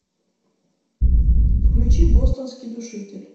включи бостонский душитель